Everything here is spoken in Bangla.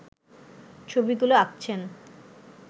ছবিগুলো আঁকছেন